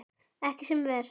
Ekki sem verst.